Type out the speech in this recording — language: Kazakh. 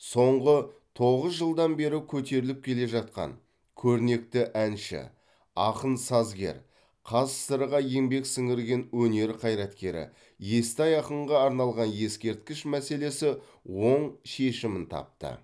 соңғы тоғыз жылдан бері көтеріліп келе жатқан көрнекті әнші ақын сазгер қазсср ға еңбек сіңірген өнер қайраткері естай ақынға арналған ескерткіш мәселесі оң шешімін тапты